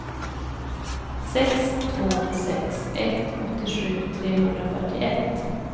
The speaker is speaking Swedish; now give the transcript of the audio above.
sex två sex ett åttiosju trehundrafyrtioett